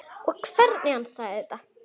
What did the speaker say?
Og hvernig hann sagði þetta.